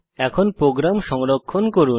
এখন প্রোগ্রাম সংরক্ষণ করুন